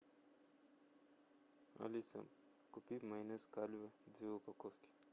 алиса купи майонез кальве две упаковки